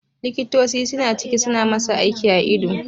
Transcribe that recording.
Likitoci suna ciki suna masa aiki a ido